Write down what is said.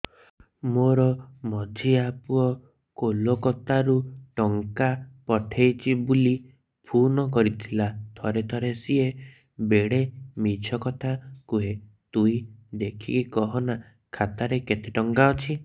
ମୋର ମଝିଆ ପୁଅ କୋଲକତା ରୁ ଟଙ୍କା ପଠେଇଚି ବୁଲି ଫୁନ କରିଥିଲା ଥରେ ଥରେ ସିଏ ବେଡେ ମିଛ କଥା କୁହେ ତୁଇ ଦେଖିକି କହନା ଖାତାରେ କେତ ଟଙ୍କା ଅଛି